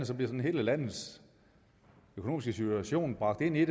sådan hele landets økonomiske situation bragt ind i